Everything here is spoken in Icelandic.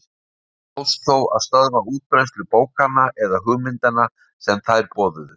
Ekki tókst þó að stöðva útbreiðslu bókanna eða hugmyndanna sem þær boðuðu.